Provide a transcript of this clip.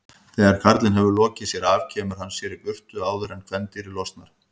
Þegar karlinn hefur lokið sér af kemur hann sér í burtu áður en kvendýrið losnar.